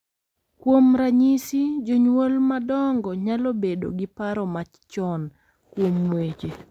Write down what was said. Kuom ranyisi, jonyuol madongo nyalo bedo gi paro machon kuom weche